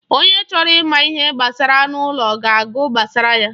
Onye chọrọ ịma ihe gbasara anụ ụlọ ga-agụ gbasara ya.